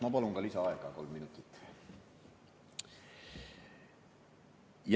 Ma palun ka lisaaega kolm minutit.